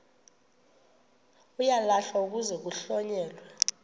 uyalahlwa kuze kuhlonyelwe